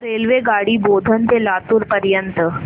रेल्वेगाडी बोधन ते लातूर पर्यंत